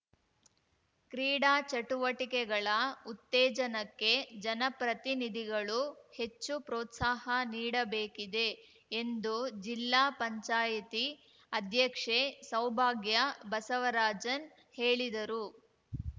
ಕ್ರೀಡಾಚಟುವಟಿಕೆಗಳ ಉತ್ತೇಜನಕ್ಕೆ ಜನಪ್ರತಿನಿಧಿಗಳು ಹೆಚ್ಚು ಪ್ರೋತ್ಸಾಹ ನೀಡಬೇಕಿದೆ ಎಂದು ಜಿಲ್ಲಾ ಪಂಚಾಯತಿ ಅಧ್ಯಕ್ಷೆ ಸೌಭಾಗ್ಯ ಬಸವರಾಜನ್‌ ಹೇಳಿದರು